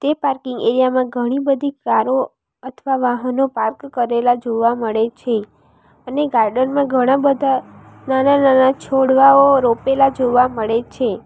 એ parking area માં ઘણી બધી કારો અથવા વાહનો પાર્ક કરેલા જોવા મળે છે અને ગાર્ડન માં ઘણા બધા નાના નાના છોડવાઓ રોપેલા જોવા મળે છે.